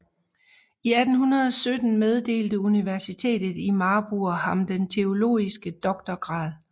I 1817 meddelte Universitetet i Marburg ham den teologiske doktorgrad